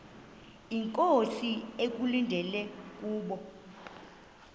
inkosi ekulindele kubo